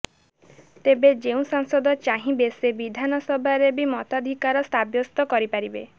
ତେବେ ଯେଉଁ ସାଂସଦ ଚାହିଁବେ ସେ ବିଧାନସଭାରେ ବି ମତାଧିକାର ସାବ୍ୟସ୍ତ କରିପାରବେ